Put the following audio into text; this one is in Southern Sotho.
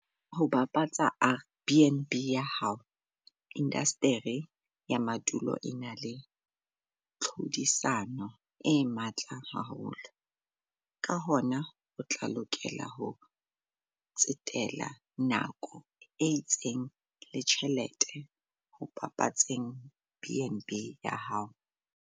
Ho bapatsa BnB ya hao - Indasteri ya madulo e na le tlhodisano e matla haholo, ka hona o tla lokela ho tsetela nako e itseng le tjhelete ho bapatseng BnB ya hao.